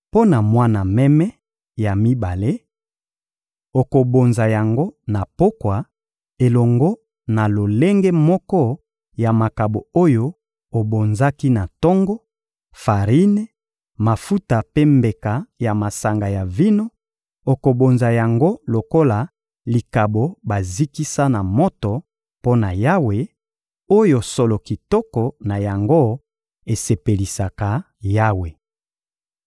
Mpo na mwana meme ya mibale, okobonza yango na pokwa elongo na lolenge moko ya makabo oyo obonzaki na tongo: farine, mafuta mpe mbeka ya masanga ya vino; okobonza yango lokola likabo bazikisa na moto mpo na Yawe, oyo solo kitoko na yango esepelisaka Yawe.